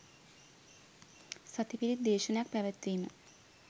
සති පිරිත් දේශනයක් පැවැත්වීම